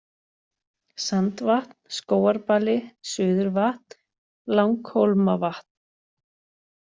Sandvatn, Skógarbali, Suðurvatn, Langhólmavatn